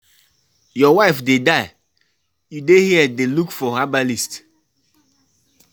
Your wife dey die, you dey here dey look for herbalist